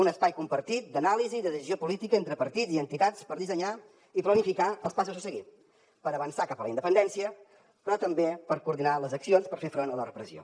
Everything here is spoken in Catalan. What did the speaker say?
un espai compartit d’anàlisi de decisió política entre partits i entitats per dissenyar i planificar els passos a seguir per avançar cap a la independència però també per coordinar les accions per fer front a la repressió